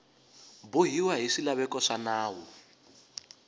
bohiwa hi swilaveko swa nawu